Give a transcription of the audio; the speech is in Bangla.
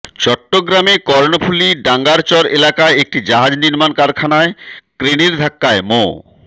চট্টগ্রামে কর্ণফুলী ডাঙ্গারচর এলাকায় একটি জাহাজ নির্মাণ কারখানায় ক্রেনের ধাক্কায় মো